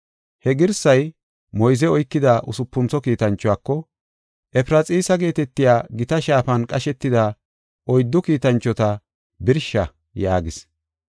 He girsay moyze oykida usupuntho kiitanchuwako, “Efraxiisa geetetiya gita shaafan qashetida oyddu kiitanchota birsha” yaagis.